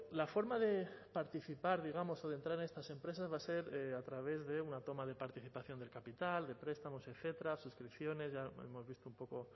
la forma de participar digamos o de entrar en estas empresas va a ser a través de una toma de participación del capital de prestamos etcétera suscripciones ya hemos visto un poco